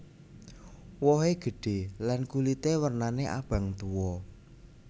Wohé gédhé lan kulité wernané abang tuwa